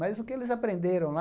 Mas o que eles aprenderam lá...